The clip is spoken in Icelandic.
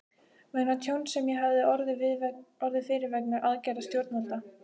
vegna tjóns sem ég hafði orðið fyrir vegna aðgerða stjórnvalda.